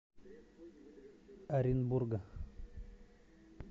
оренбурга